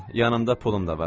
Dayan, yanımda pulum da var.